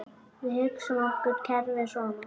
Við hugsum okkur kerfið svona